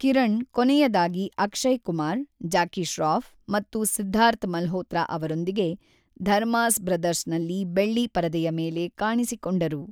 ಕಿರಣ್ ಕೊನೆಯದಾಗಿ ಅಕ್ಷಯ್ ಕುಮಾರ್, ಜಾಕಿ ಶ್ರಾಫ್ ಮತ್ತು ಸಿದ್ಧಾರ್ಥ್ ಮಲ್ಹೋತ್ರಾ ಅವರೊಂದಿಗೆ ಧರ್ಮಾಸ್ ಬ್ರದರ್ಸ್‌ನಲ್ಲಿ ಬೆಳ್ಳಿ ಪರದೆಯ ಮೇಲೆ ಕಾಣಿಸಿಕೊಂಡರು.